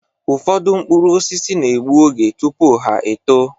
Ụfọdụ mkpụrụ osisi na-egbu oge tụpụ ha-eto